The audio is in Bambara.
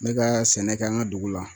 N bɛ ka sɛnɛ kɛ an ka dugu la